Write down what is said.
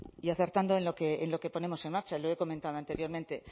mikrofonoa itzalita hitz egin du y acertando en lo que ponemos en marcha lo he comentado anteriormente